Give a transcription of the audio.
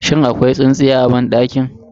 Shin akwai tsintsiya a banɗakin?